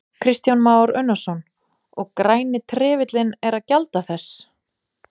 Kristján Már Unnarsson: Og Græni trefillinn er að gjalda þess?